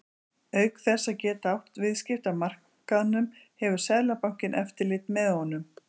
Auk þess að geta átt viðskipti á markaðnum hefur Seðlabankinn eftirlit með honum.